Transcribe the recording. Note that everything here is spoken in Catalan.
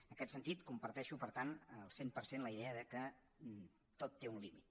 en aquest sentit comparteixo per tant al cent per cent la idea que tot té un límit